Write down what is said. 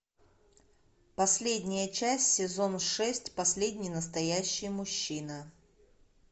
последняя часть сезон шесть последний настоящий мужчина